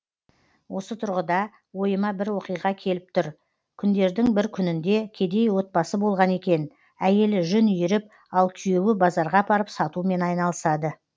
осы тұрғыда ойыма бір оқиға келіп тұр күндердін бір күнінде кедей отбасы болған екен әйелі жүн иіріп ал күйеуі базарға апарып сатумен айналысады